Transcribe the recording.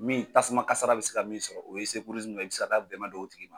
Min tasuma kasara bɛ se ka min sɔrɔ o ye ye, i bɛ se ka taa dɛmɛ don o tigi ma.